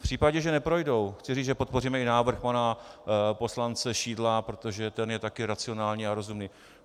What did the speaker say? V případě, že neprojdou, chci říct, že podpoříme i návrh pana poslance Šidla, protože ten je taky racionální a rozumný.